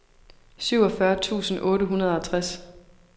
syvogfyrre tusind otte hundrede og tres